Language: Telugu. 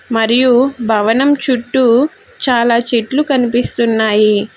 మరియు భవనం చుట్టూ చాలా చెట్లు కనిపిస్తున్నాయి.